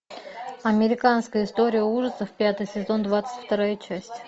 американская история ужасов пятый сезон двадцать вторая часть